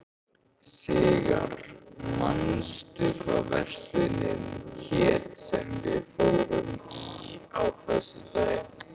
Sigarr, manstu hvað verslunin hét sem við fórum í á föstudaginn?